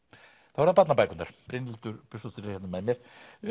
þá eru það barnabækurnar Brynhildur Björnsdóttir er hérna með mér